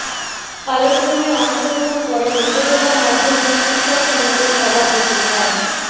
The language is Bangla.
আলোচনায় অংশ গ্রহণ করেন উপজেলা মাধ্যমিক শিক্ষক সমিতির সভাপতি মো